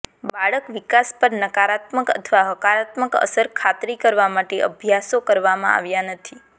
બાળક વિકાસ પર નકારાત્મક અથવા હકારાત્મક અસર ખાતરી કરવા માટે અભ્યાસો કરવામાં આવ્યા નથી